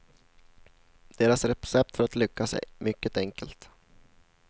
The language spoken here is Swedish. Deras recept för att lyckas är mycket enkelt.